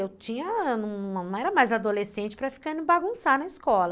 Eu não era mais adolescente para ficar indo bagunçar na escola.